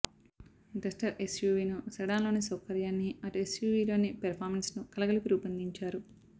Duster ఎస్యూవీను సెడాన్లోని సౌకర్యాన్ని అటు ఎస్యూవీలోని పెర్ఫామెన్స్ను కలగలిపి రూపొందించారు